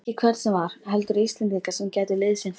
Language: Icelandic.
Ekki hvern sem var, heldur Íslendinga sem gætu liðsinnt honum.